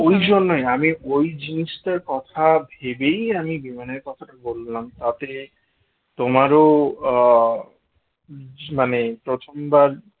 ওই জন্যই আমি ওই জিনিসটার কথা ভেবেই আমি বিমানের কথাটা বললাম তাতে তোমারও আহ মানে প্রথমবার